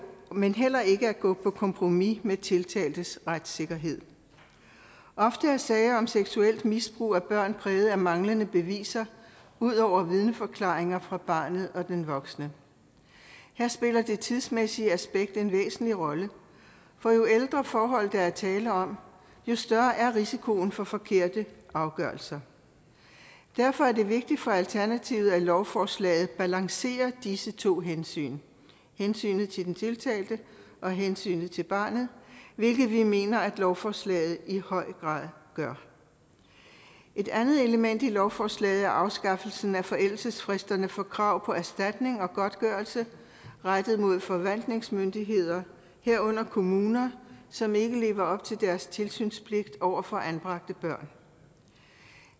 men heller ikke at gå på kompromis med tiltaltes retssikkerhed ofte er sager om seksuelt misbrug af børn præget af manglende beviser ud over vidneforklaringer fra barnet og den voksne her spiller det tidsmæssige aspekt en væsentlig rolle for jo ældre forhold der er tale om jo større er risikoen for forkerte afgørelser derfor er det vigtigt for alternativet at lovforslaget balancerer disse to hensyn hensynet til den tiltalte og hensynet til barnet hvilket vi mener at lovforslaget i høj grad gør et andet element i lovforslaget er afskaffelsen af forældelsesfristerne for krav på erstatning og godtgørelse rettet mod forvaltningsmyndigheder herunder kommuner som ikke lever op til deres tilsynspligt over for anbragte børn